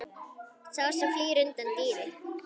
Sá sem flýr undan dýri.